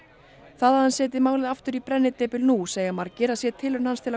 það að hann setji málið aftur í brennidepil nú segja margir að sé tilraun hans til að